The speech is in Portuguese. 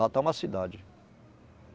Lá tá uma cidade.